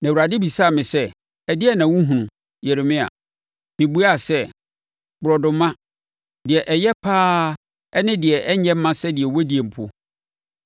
Na Awurade bisaa me sɛ, “Ɛdeɛn na wohunu, Yeremia?” Mebuaa sɛ, “Borɔdɔma, deɛ ɛyɛ pa ara, ne deɛ ɛnyɛ mma sɛdeɛ wɔdie mpo.”